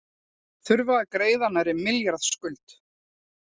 Þurfa að greiða nærri milljarðs skuld